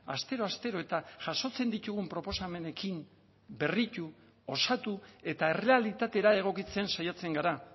astero astero eta jasotzen ditugun proposamenekin berritu osatu eta errealitatera egokitzen saiatzen gara